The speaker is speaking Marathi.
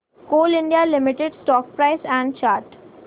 Coal India Limited stock price and chart